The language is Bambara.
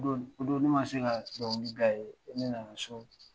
O don ne ma se ka dɔnkili da ye, fo ne nana so.